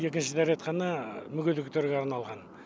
екінші дәретхана мүгедектерге арналған